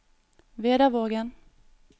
Vedavågen